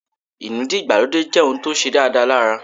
Inúdí ìgbàlódé jẹ́ ohùn tó ṣe dáadáa lára